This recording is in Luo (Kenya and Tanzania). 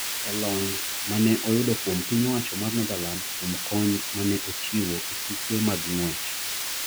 e lony mane oyudo kuom piny owacho mar Netherlands kuom kony ma ne ochiwo e tuke mag ng’wech.